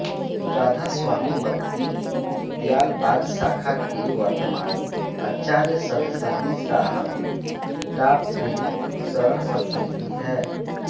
राधास्वामी मत की दयालबाग शाखा के वर्तमान आचार्य सत्संगी साहब डा प्रेम सरन सत्सन्गी है